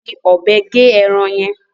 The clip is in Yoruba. Fi ọ̀bẹ gé ẹran yẹn.